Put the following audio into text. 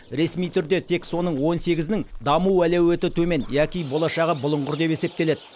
ресми түрде тек соның он сегізінің даму әлеуеті төмен яки болашағы бұлыңғыр деп есептеледі